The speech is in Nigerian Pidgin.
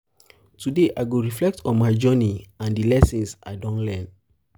today i go reflect on my journey and di lessons i don learn.